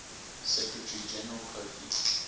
secretary general kofi